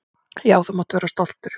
Já, þú mátt vera stoltur.